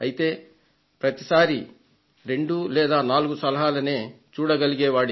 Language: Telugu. అయితే ప్రతి సారి రెండు సలహాలు లేదా నాలుగు సలహాలు అందేవి